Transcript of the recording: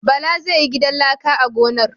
Bala zai yi gidan laka a gonar.